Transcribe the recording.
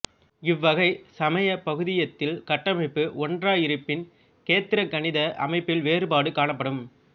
இவ்வகைச் சமபகுதியத்தில் கட்டமைப்பு ஒன்றாயிருப்பினும் கேத்திரகணித அமைப்பில் வேறுபாடு காணப்படும்